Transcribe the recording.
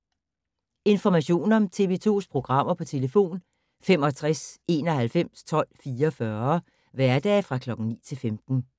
Information om TV 2's programmer: 65 91 12 44, hverdage 9-15.